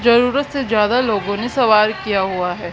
जरूरत से ज्यादा लोगों ने सवार किया हुआ है।